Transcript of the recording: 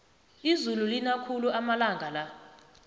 izulu lina khulu amalanga la